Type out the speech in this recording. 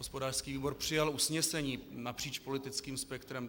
Hospodářský výbor přijal usnesení napříč politickým spektrem.